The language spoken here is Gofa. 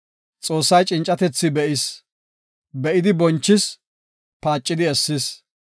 Xoossay cincatetha be7is; be7idi bonchis; paacidi essis.